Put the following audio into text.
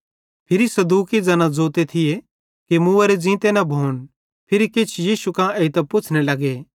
फिरी सदूकी ज़ैन ज़ोते थिये कि मुवोरे ज़ींते न भोन ते फिरी किछ यीशु कां एइतां पुच्छ़ने लगे